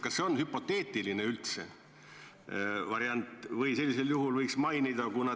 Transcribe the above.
Kas see on hüpoteetiline variant?